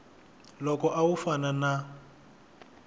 loko a wu fana na